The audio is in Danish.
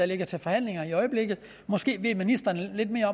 ligger til forhandling i øjeblikket måske ved ministeren lidt mere